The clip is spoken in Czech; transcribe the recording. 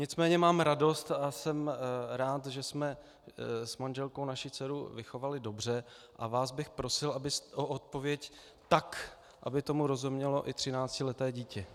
Nicméně mám radost a jsem rád, že jsme s manželkou naši dceru vychovali dobře, a vás bych prosil o odpověď tak, aby tomu rozumělo i třináctileté dítě.